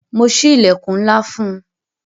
Mo sí ilẹkun ńlá fún un